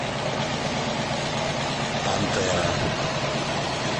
пантера